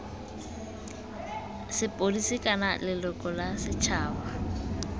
sepodisi kana leloko la setšhaba